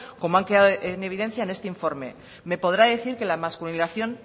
como han quedado en evidencia en este informe me podrá decir que la masculinización